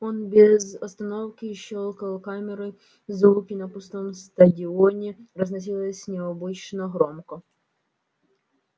он без остановки щёлкал камерой звуки на пустом стадионе разносилось необычно громко